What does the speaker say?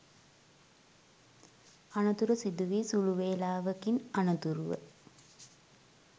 අනතුර සිදුවී සුළු වෙලාවකින් අනතුරුව